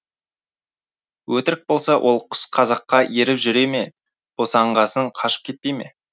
өтірік болса ол құс қазаққа еріп жүре ме босанғасын қашып кетпей ме